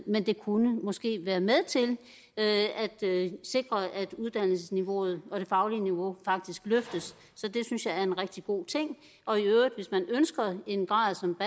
men det kunne måske være med til at sikre at uddannelsesniveauet og det faglige niveau faktisk løftes så det synes jeg er en rigtig god ting og i øvrigt hvis man ønsker en grad som